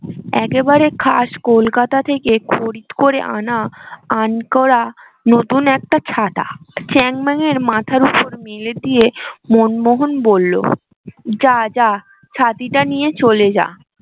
একেবারে খাস কোলকাতা থেকে খরিদ করে আনা আনকরা নতুন একটা ছাতা চ্যাং ম্যানের মাথার উপর মেলে দিয়ে মনমোহন বললো যা যা ছাতি টা নিয়ে চলে যা